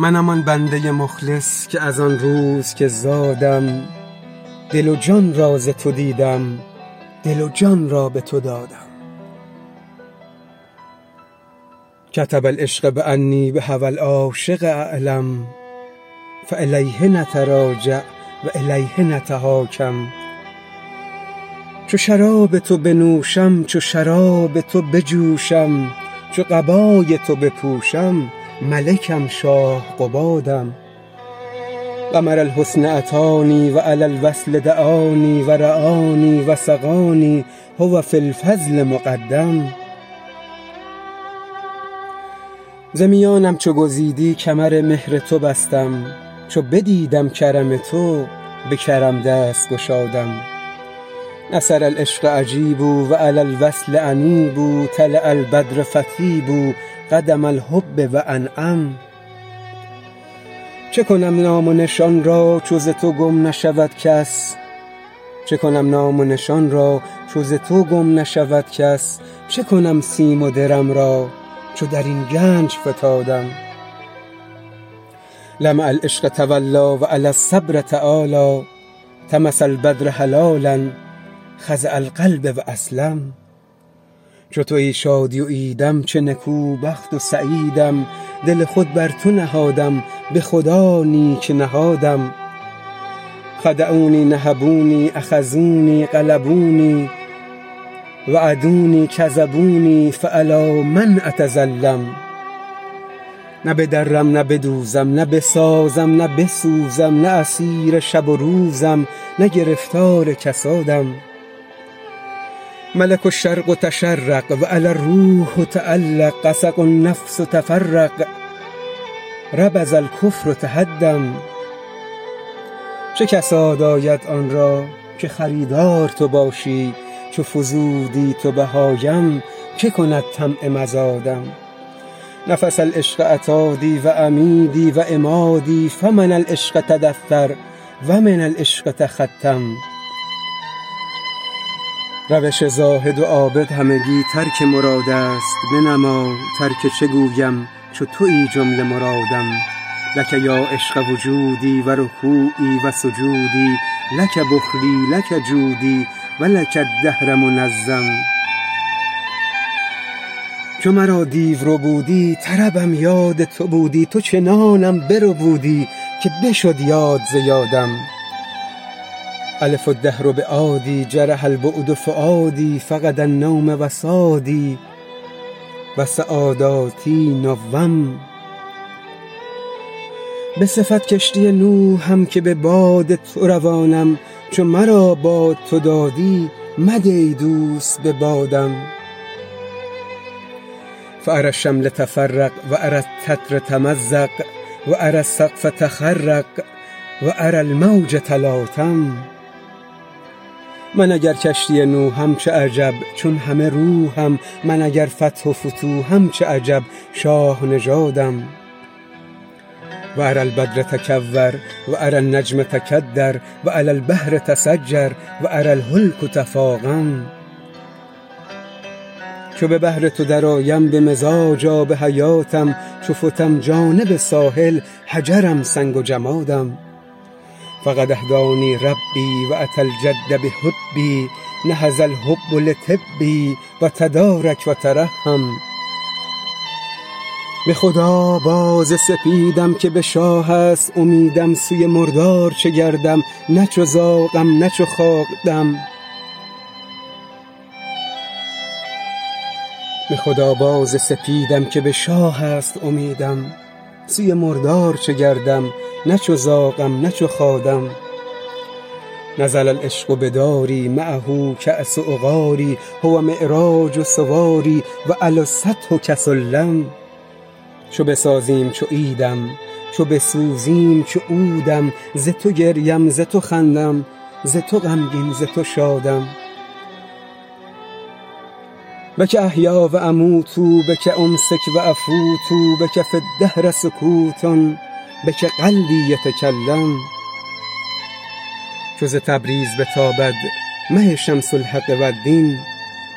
منم آن بنده مخلص که از آن روز که زادم دل و جان را ز تو دیدم دل و جان را به تو دادم کتب العشق بانی بهوی العاشق اعلم فالیه نتراجع و الیه نتحاکم چو شراب تو بنوشم چو شراب تو بجوشم چو قبای تو بپوشم ملکم شاه قبادم قمر الحسن اتانی و الی الوصل دعانی و رعانی و سقانی هو فی الفضل مقدم ز میانم چو گزیدی کمر مهر تو بستم چو بدیدم کرم تو به کرم دست گشادم نصر العشق اجیبوا و الی الوصل انیبوا طلع البدر فطیبوا قدم الحب و انعم چه کنم نام و نشان را چو ز تو گم نشود کس چه کنم سیم و درم را چو در این گنج فتادم لمع العشق توالی و علی الصبر تعالی طمس البدر هلالا خضع القلب و اسلم چو توی شادی و عیدم چه نکوبخت و سعیدم دل خود بر تو نهادم به خدا نیک نهادم خدعونی نهبونی اخذونی غلبونی وعدونی کذبونی فالی من اتظلم نه بدرم نه بدوزم نه بسازم نه بسوزم نه اسیر شب و روزم نه گرفتار کسادم ملک الشرق تشرق و علی الروح تعلق غسق النفس تفرق ربض الکفر تهدم چه کساد آید آن را که خریدار تو باشی چو فزودی تو بهایم که کند طمع مزادم نفس العشق عتادی و عمیدی و عمادی فمن العشق تدثر و من العشق تختم روش زاهد و عابد همگی ترک مراد است بنما ترک چه گویم چو توی جمله مرادم لک یا عشق وجودی و رکوعی و سجودی لک بخلی لک جودی و لک الدهر منظم چو مرا دیو ربودی طربم یاد تو بودی تو چنانم بربودی که بشد یاد ز یادم الف الدهر بعادی جرح البعد فؤادی فقد النوم وسادی و سعاداتی نوم به صفت کشتی نوحم که به باد تو روانم چو مرا باد تو دادی مده ای دوست به بادم فاری الشمل تفرق و اری الستر تمزق و اری السقف تخرق و اری الموج تلاطم من اگر کشتی نوحم چه عجب چون همه روحم من اگر فتح و فتوحم چه عجب شاه نژادم و اری البدر تکور و اری النجم تکدر و اری البحر تسجر و اری الهلک تفاقم چو به بحر تو درآیم به مزاج آب حیاتم چو فتم جانب ساحل حجرم سنگ و جمادم فقد اهدانی ربی و اتی الجد بحبی نهض الحب لطبی و تدارک و ترحم به خدا باز سپیدم که به شاه است امیدم سوی مردار چه گردم نه چو زاغم نه چو خادم نزل العشق بداری معه کاس عقاری هو معراج سواری و علی السطح کسلم چو بسازیم چو عیدم چو بسوزیم چو عودم ز تو گریم ز تو خندم ز تو غمگین ز تو شادم بک احیی و اموت بک امسک و افوت بک فی الدهر سکوت بک قلبی یتکلم چو ز تبریز بتابد مه شمس الحق والدین